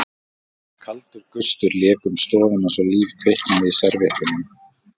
Kaldur gustur lék um stofuna svo líf kviknaði í servíettunum.